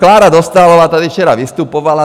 Klára Dostálová tady včera vystupovala.